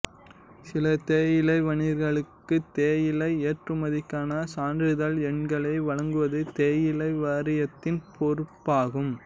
சில தேயிலை வணிகர்களுக்குத் தேயிலை ஏற்றுமதிக்கான சான்றிதழ் எண்களை வழங்குவது தேயிலை வாரியத்தின் பொறுப்பாகும்